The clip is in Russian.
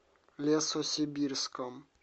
лесосибирском